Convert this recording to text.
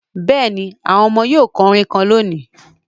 Yesm the children will sing a chant today